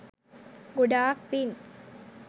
ගොඩාක් පින්.